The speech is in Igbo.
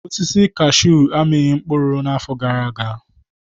Osisi kashuu amịghị mkpụrụ n'afọ gara aga.